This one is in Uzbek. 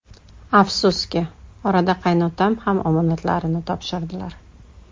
Afsuski, orada qaynotam ham omonatlarini topshirdilar.